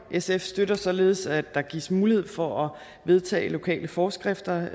sf støtter således at der gives mulighed for at vedtage lokale forskrifter